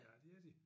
Ja det er de